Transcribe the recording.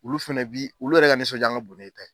Olu fɛnɛ bi olu yɛrɛ ka nisɔndiya ka bon n'i e ta ye.